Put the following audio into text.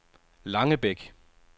Langebæk